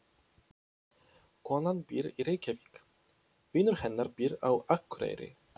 Konan býr í Reykjavík. Vinur hennar býr á Akureyri.